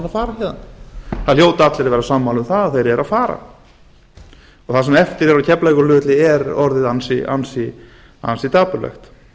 fara héðan það hljóta allir að vera sammála um það þeir eru að fara það sem eftir er á keflavíkurflugvelli er orðið ansi dapurlegt